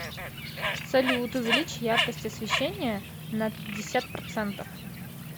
салют увеличь яркость освещения на пятьдесят процентов